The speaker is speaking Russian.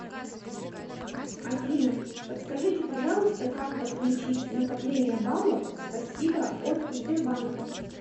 афина подскажите пожалуйста как подключить накопление баллов спасибо от сбербанка